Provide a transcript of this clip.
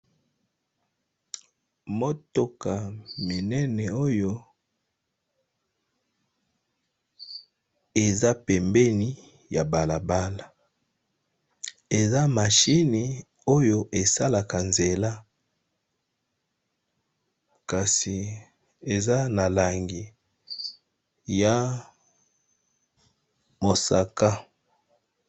Motoka munene oyo eza pembeni ya balabala eza machine oyo esalaka nzela kasi eza na langi ya mosaka.